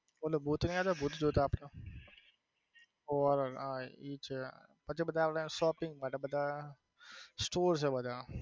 ભૂત નઈ આવતા ભૂત જોતા આપડે horror હા એ છે પછી બધા આપડે shopping માટે બધા store છે બધા